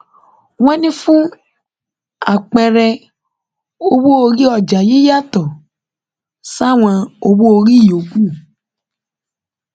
wọn ní fún àpẹẹrẹ owóorí ọjà yìí yàtọ sáwọn owó orí yòókù